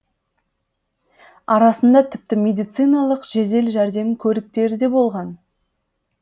арасында тіпті медициналық жедел жәрдем көліктері де болған